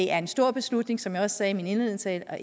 er en stor beslutning som jeg også sagde i min indledende tale og